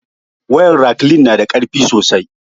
Wayar raklin na da karfi sosai